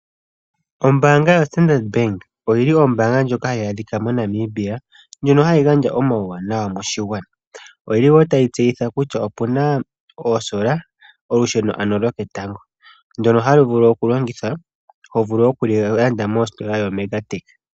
Ombaanga yoStandard bank ndjoka hayi adhika moNamibia ndjono hayi gandja omauwanawa moshigwana. Oyili tayi tseyitha kutya opuna oosola, olusheno ano loketango ndyono halu vulu oku longithwa nohalu landwa kositola yoMega tech.